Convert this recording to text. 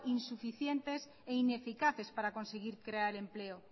insuficientes e ineficaces para conseguir crear empleo